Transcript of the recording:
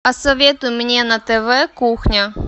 посоветуй мне на тв кухня